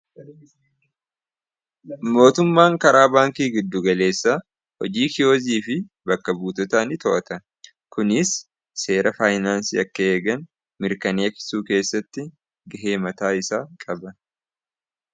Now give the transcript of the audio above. mootummaan karaa baankii giddugaleessa hojii kiyoozii fi bakka buutotaa ni to'ata kunis seera faayinaansi akka eegan mirkaneessuu keessatti gaheemataa isaa qaba